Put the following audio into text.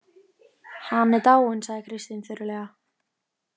Hann er dáinn, sagði Kristín þurrlega.